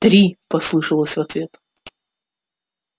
три послышалось в ответ